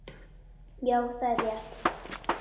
Já það er rétt.